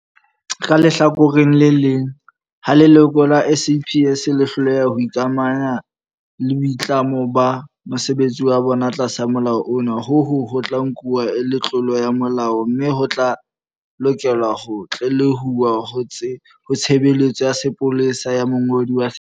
Ka lehlakoreng le leng, ha leloko la SAPS le hloleha ho ikamahanya le boitlamo ba mosebetsi wa bona, tlasa Molao ona, hono ho tla nku-wa e le tlolo ya molao mme ho tla lokelwa ho tlelehuwa ho Tshebeletso ya Sepolesa ya Mongodi wa Setjhaba.